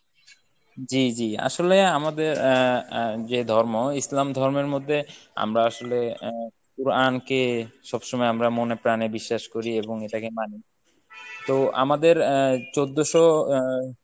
জি জি আসলে আমাদের আহ আহ যে ধর্ম ইসলাম ধর্মের মধ্যে আমরা আসলে আহ কুরআনকে সবসময় আমরা মনে প্রানে বিশ্বাস করি এবং এটাকে মানি। তো আমাদের আহ চৌদ্ধশ আহ